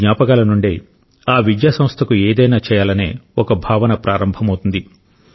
ఈ జ్ఞాపకాల నుండే ఆ విద్యాసంస్థకు ఏదైనా చేయాలనే ఒక భావన ప్రారంభమవుతుంది